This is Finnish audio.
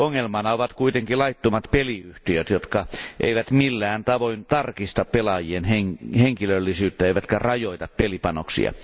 Ongelmana ovat kuitenkin laittomat peliyhtiöt, jotka eivät millään tavoin tarkista pelaajien henkilöllisyyttä eivätkä rajoita pelipanoksia.